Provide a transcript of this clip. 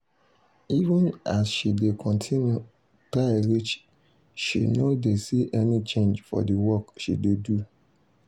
even as she dey continue try reach she no dey see any change for the work she dey do